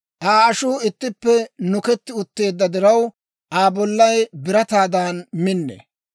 Aa ashuu ittippe nuketti utteedda diraw, Aa bollay birataadan minnee.